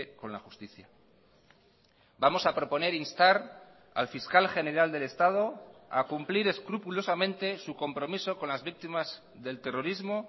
con la justicia vamos a proponer instar al fiscal general del estado a cumplir escrupulosamente su compromiso con las víctimas del terrorismo